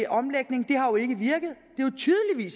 omlægning har jo ikke virket